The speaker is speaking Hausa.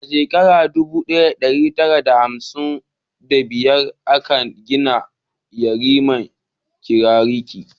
A shekara dubu daya da dari tara da hamsin wa biyar a ka gina gidan yarin Kirikiri